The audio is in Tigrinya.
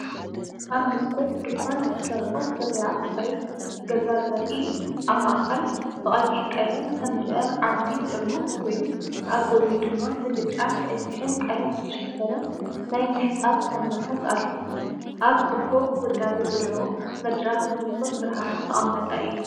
ኣብ መስኮት ድኳን ዝተሰርዑ ፍርያት ጽሬት ገዛ ዘርኢ እዩ። ኣብ ማእከል ብቐይሕ ቀለም ዝተመልአ ዓቢ ጥርሙዝ ኮይኑ ኣብ ጎድኑ ድማ ብብጫን ቀይሕን ቀለም ዝተሸፈነ ናይ ምሕጻብ ሳሙናታት ኣሎ። ኣብ ጽቡቕ ውዳበ ዘለዎ መድረኽ ብንጹር ብርሃን ዝተቐመጠ እዩ።